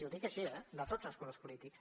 i ho dic així eh de tots els colors polítics